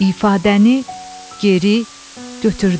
İfadəni geri götürdüm.